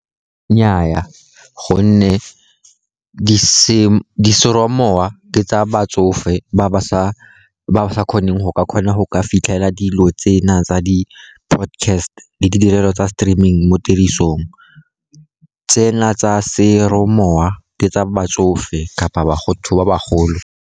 Nnyaa, gonne di ke tsa batsofe ba ba sa kgoneng go ka kgona go fitlhela dilo tsena tsa di-podcast le ditirelo tsa streaming mo tirisong. Tsena tsa ke tsa batsofe kapa bagolo.